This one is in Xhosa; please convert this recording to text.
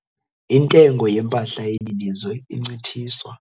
Intengo yempahla yeli lizwe incithiswa